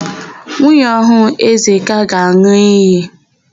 Nwunye ọhụụ Ezeka ga-an̄ụ iyi.